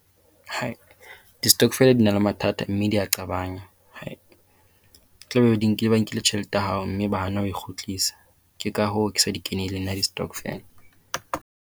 Hai, di-stokvel di na le mathata mme di a qabanya. Tlabe di nkile ba nkile tjhelete ya hao mme ba hana ho e kgutlisa. Ke ka hoo ke sa di kenelle nna di-stokvel.